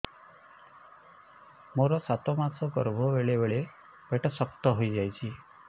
ମୋର ସାତ ମାସ ଗର୍ଭ ବେଳେ ବେଳେ ପେଟ ଶକ୍ତ ହେଇଯାଉଛି